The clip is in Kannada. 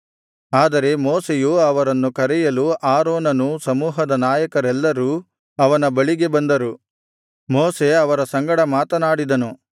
ಆದರೆ ಮೋಶೆಯು ಅವರನ್ನು ಕರೆಯಲು ಆರೋನನೂ ಸಮೂಹದ ನಾಯಕರೆಲ್ಲರೂ ಅವನ ಬಳಿಗೆ ಬಂದರು ಮೋಶೆ ಅವರ ಸಂಗಡ ಮಾತನಾಡಿದನು